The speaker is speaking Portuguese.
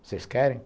Vocês querem?